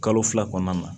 Kalo fila kɔnɔna na